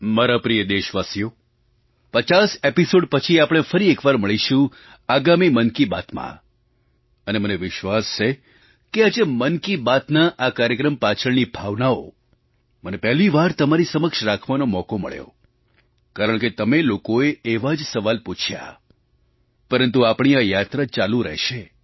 મારા પ્રિય દેશવાસીઓ 50 એપિસૉડ પછી આપણે ફરી એક વાર મળીશું આગામી મન કી બાતમાં અને મને વિશ્વાસ છે કે આજે મન કી બાતના આ કાર્યક્રમ પાછળની ભાવનાઓ મને પહેલી વાર તમારી સમક્ષ રાખવાનો મોકો મળ્યો કારણકે તમે લોકોએ એવા જ સવાલ પૂછ્યા પરંતુ આપણી આ યાત્રા ચાલુ રહેશે